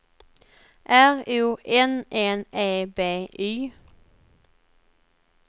R O N N E B Y